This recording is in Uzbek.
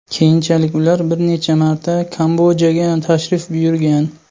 Keyinchalik ular bir necha marta Kambodjaga tashrif buyurgan.